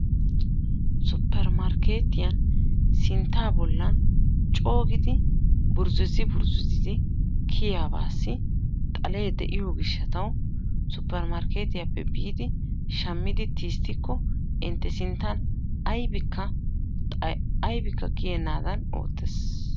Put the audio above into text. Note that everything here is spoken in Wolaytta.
suppermarkettiyan sintta bollan coo giidi burzzuzi burzzuzi kiyyabassi xalee de'iyo gishshataw suppermarkketiyappe biidi shammidi tisttikko intte sinttan aybbikka kiyyenadan oottees.